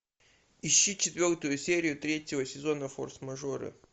ищи четвертую серию третьего сезона форс мажоры